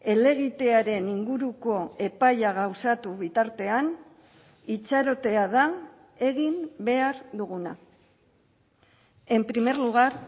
helegitearen inguruko epaia gauzatu bitartean itxarotea da egin behar duguna en primer lugar